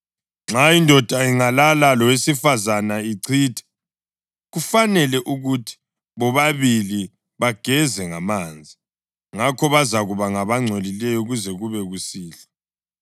Nxa indoda ingalala lowesifazane ichithe, kufanele ukuthi bobabili bageze ngamanzi, ngakho bazakuba ngabangcolileyo kuze kube kusihlwa.